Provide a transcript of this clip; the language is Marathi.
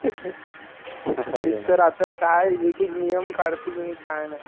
आता काय एक एक नियम काढतील नि काय.